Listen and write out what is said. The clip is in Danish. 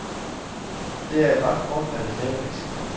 Det er et ret kortfattet haveleksikon.